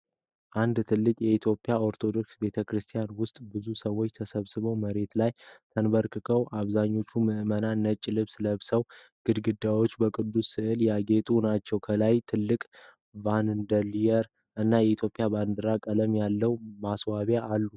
አንድ ትልቅ የኢትዮጵያ ኦርቶዶክስ ቤተ ክርስቲያን ውስጥ ብዙ ሰዎች ተሰብስበው መሬት ላይ ተንበርክከዋል። አብዛኞቹ ምእመናን ነጭ ልብስ ለብሰዋል። ግድግዳዎቹ በቅዱስ ስዕሎች ያጌጡ ናቸው። ከላይ ትልቅ ሻንደልየር እና የኢትዮጵያ ባንዲራ ቀለም ያለው ማስዋቢያ አሉ።